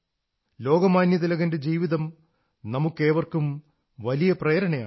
ലോകമാന്യതിലകന്റെ ജീവിതം നമുക്കേവർക്കും വലിയ പ്രേരണയാണ്